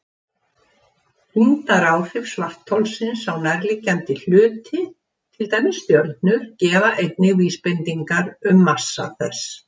Þyngdaráhrif svartholsins á nærliggjandi hluti, til dæmis stjörnur, gefa einnig vísbendingar um massa þess.